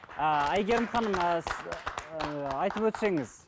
ааа әйгерім ханым ы ыыы айтып өтсеңіз